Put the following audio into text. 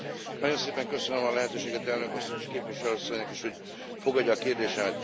Nagyon szépen köszönöm a lehetőséget, elnök asszony, és képviselő asszonynak is, hogy fogadja a kérdésemet.